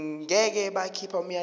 ngeke bakhipha umyalelo